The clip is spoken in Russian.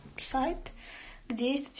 сайт где есть